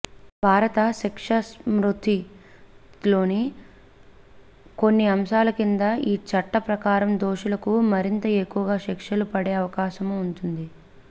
భారత శిక్షాస్మతృతిలోని కొన్ని అంశాల కింద ఈ చట్ట ప్రకారం దోషులకు మరింత ఎక్కువగా శిక్షలు పడే అవకాశమూ ఉంటుంది